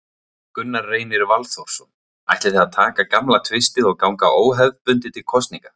Gunnar Reynir Valþórsson: Ætlið þið að taka gamla tvistið og ganga óbundið til kosninga?